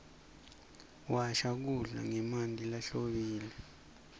washa kudla ngemanti lahlobile